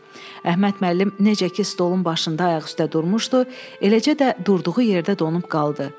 Əhməd müəllim necə ki stolun başında ayaq üstə durmuşdu, eləcə də durduğu yerdə donub qaldı.